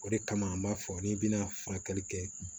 O de kama an b'a fɔ ni bɛna furakɛli kɛ